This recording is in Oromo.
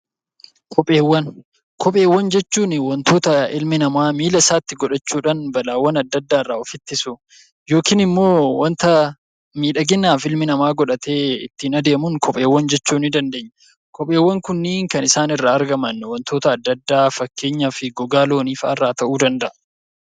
Kopheewwan jechuun wantoota ilmi namaa miilla isaatti godhachuudhaan balaawwan adda addaa irraa of ittisu yookiin immoo waanta miidhaginaaf ilmi namaa godhatee ittiin adeemuun kopheewwan jechuu ni dandeenya. Kopheewwan kunniin kan isaan irraa argaman wantoota adda addaa fakkeenyaaf gogaa loonii fa'a irraa ta'uu danda'a.